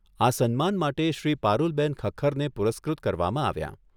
આ સન્માન માટે શ્રી પારૂલબેન ખખ્ખરને પુરસ્કૃત કરવામાં આવ્યાં.